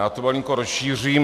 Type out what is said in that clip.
Já to malinko rozšířím.